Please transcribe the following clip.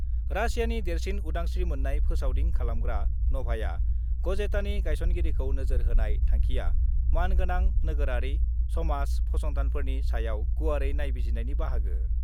रासियानि देरसिन उदांस्रि मोननाय फोसावदिं खालामग्रा नभाया गजेटानि गाइसनगिरिखौ नोजोर होनाय थांखिया मान गोनां नोगोरारि समाज फसंथानफोरनि सायाव गुवारै नाइबिजिरनायनि बाहागो।